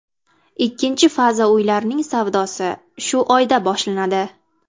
Ikkinchi faza uylarning savdosi shu oyda boshlanadi.